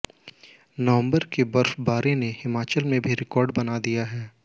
नवंबर की बर्फबारी ने हिमाचल में भी रिकॉर्ड बना दिया है